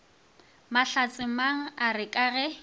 mahlatsemang a re ka ge